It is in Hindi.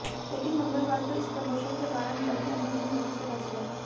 लेकिन मंगलवार को इस प्रमोशन के दौरान बड़ी अनहोनी होने से बच गयी